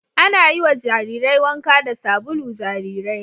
Ana yiwa jarirai wanka da sabulu jarirai